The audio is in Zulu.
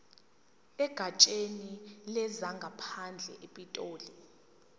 egatsheni lezangaphandle epitoli